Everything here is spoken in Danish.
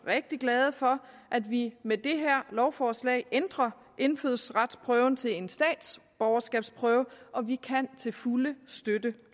rigtig glade for at vi med det her lovforslag ændrer indfødsretsprøven til en statsborgerskabsprøve og vi kan til fulde støtte